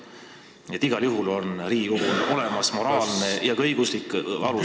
Nii et igal juhul on Riigikogul olemas moraalne ja ka õiguslik alus ...